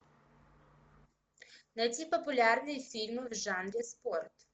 найти популярные фильмы в жанре спорт